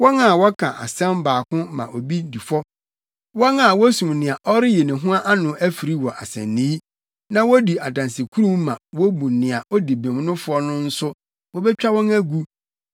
wɔn a wɔka asɛm baako ma obi di fɔ, wɔn a wosum nea ɔreyi ne ho ano afiri wɔ asennii na wodi adansekurum ma wobu nea odi bem no fɔ no nso wobetwa wɔn agu.